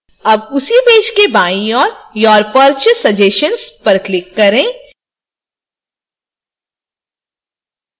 अब उसी पेज के बाईं ओर your purchase suggestions पर click करें